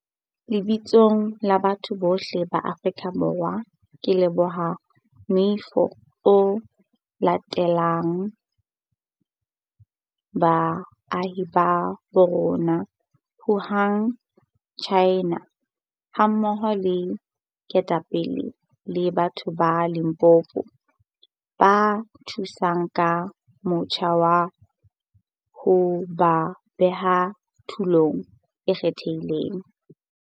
Lebitsong la batho bohle ba Aforika Borwa ke leboha moifo o latileng baahi ba bo rona Wuhan, Tjhaena, hammoho le ketapele le batho ba Limpopo ba thusang ka motjha wa ho ba beha tulong e kgethehileng.